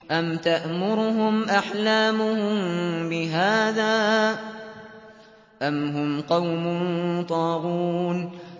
أَمْ تَأْمُرُهُمْ أَحْلَامُهُم بِهَٰذَا ۚ أَمْ هُمْ قَوْمٌ طَاغُونَ